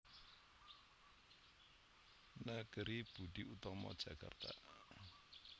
Negeri Budi Utomo Jakarta